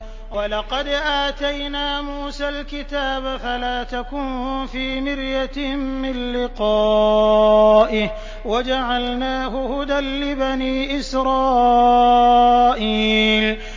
وَلَقَدْ آتَيْنَا مُوسَى الْكِتَابَ فَلَا تَكُن فِي مِرْيَةٍ مِّن لِّقَائِهِ ۖ وَجَعَلْنَاهُ هُدًى لِّبَنِي إِسْرَائِيلَ